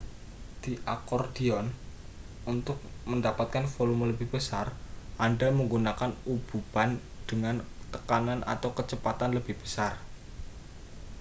di akordion untuk mendapatkan volume lebih besar anda menggunakan ububan dengan tekanan atau kecepatan lebih besar